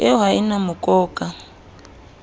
eo ha e na mokoka